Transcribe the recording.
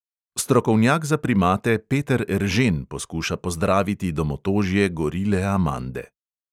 Strokovnjak za primate peter eržen poskuša pozdraviti domotožje gorile amande.